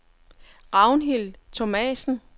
Ragnhild Thomassen